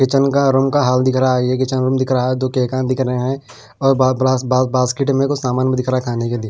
kitchen का room का hall दिख रहा है ये किचेन रूम दिख रहा है और बा ब ब ब बास्केट कुछ सामान भी दिख रहा है खाने के लिए --